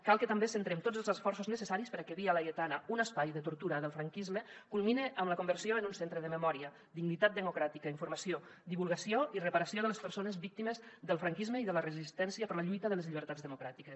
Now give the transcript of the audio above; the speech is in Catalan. cal que també centrem tots els esforços necessaris perquè via laietana un espai de tortura del franquisme culmine amb la conversió en un centre de memòria dignitat democràtica informació divulgació i reparació de les persones víctimes del franquisme i de la resistència per la lluita de les llibertats democràtiques